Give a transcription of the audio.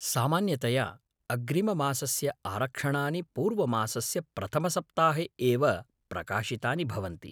सामान्यतया अग्रिममासस्य आरक्षणानि पूर्वमासस्य प्रथमसप्ताहे एव प्रकाशितानि भवन्ति।